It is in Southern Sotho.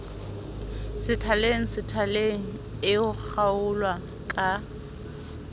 sethaleng sethaleng e kgaolwa ka